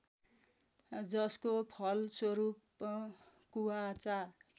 जसको फलस्वरूप कुबाचा